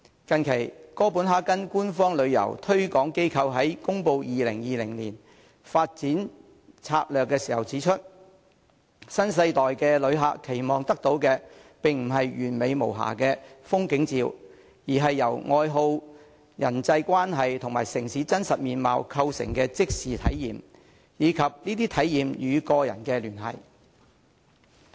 近期，哥本哈根官方旅遊推廣機構在公布2020年發展策略時指出，新世代旅客期望得到的並不是完美無瑕的風景照，而是由愛好、人際關係與城市的真實面貌構成的即時體驗，以及這些體驗與個人的連繫。